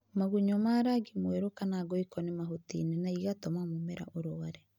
magunyũma rangi wa mwerũ kana ngoikoni mahutinĩ na ĩgatũma mũmera ũrware